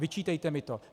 Vyčítejte mi to.